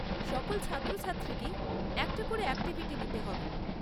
সকল ছাত্রছাত্রীকেই একটা করে অ্যাকটিভিটি নিতে হবে।